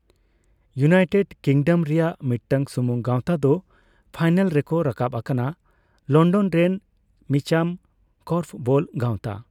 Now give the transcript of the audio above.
United Kingdom ᱨᱮᱭᱟᱜ ᱢᱤᱫᱴᱟᱝ ᱥᱩᱢᱩᱝ ᱜᱟᱸᱣᱛᱟ ᱫᱚ ᱯᱷᱟᱭᱱᱟᱞ ᱨᱮᱠᱚ ᱨᱟᱠᱟᱵᱽ ᱟᱠᱟᱱᱟ ᱞᱚᱱᱰᱚᱱ ᱨᱮᱱ ᱢᱤᱪᱟᱢ ᱠᱚᱨᱯᱷᱚᱵᱚᱞ ᱜᱟᱸᱣᱛᱟ ᱾